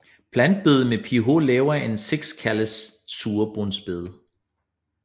Plantebede med pH lavere end 6 kaldes surbundsbede